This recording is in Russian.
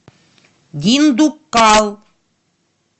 диндуккал